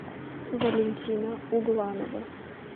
валентина угланова